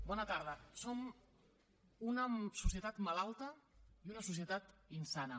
bona tarda som una societat malalta i una societat insana